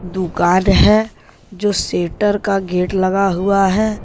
दुकान है जो शटर का गेट लगा हुआ है।